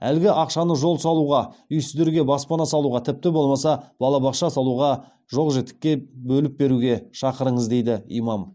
әлгі ақшаны жол салуға үйсіздерге баспана салуға тіпті болмаса балабақша салуға жоқ жітікке бөліп беруге шақырыңыз дейді имам